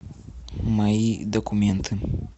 мои документы